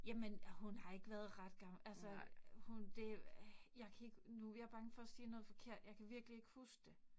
Jamen hun har ikke været ret gammel. Altså hun det jeg kan ikke nu, jeg er bange for at sige noget forkert, jeg kan virkelig ikke huske det